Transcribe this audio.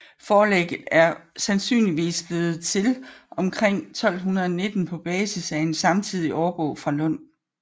Forlægget er sandsynligvis blevet til omkring 1219 på basis af en samtidig årbog fra Lund